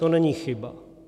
To není chyba.